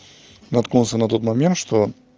наткнулся на тот момент что